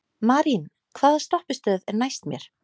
Marín, hvaða stoppistöð er næst mér?